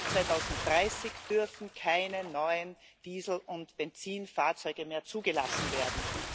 Ab 2030 dürfen keine neuen Diesel und Benzinfahrzeuge mehr zugelassen werden.